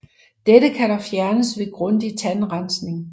Dette kan dog fjernes ved grundig tandrensning